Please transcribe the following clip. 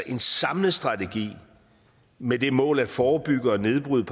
en samlet strategi med det mål at forebygge og nedbryde